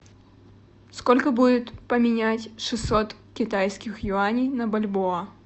сколько будет поменять шестьсот китайских юаней на бальбоа